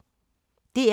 DR P3